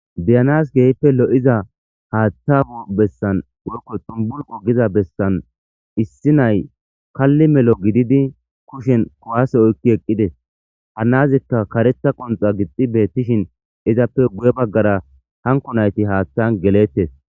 Beyanas keehippe lo'iza Hatha abesan woyko xumbulqo besan issi na'ay Kali melo gidid kushen kuwase oyki eqides . Ha nazika karetha qonxa gix beetishn izappe guye bagara hanko nayt hathan geletes.